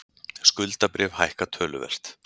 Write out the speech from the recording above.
Skuldabréf hækka töluvert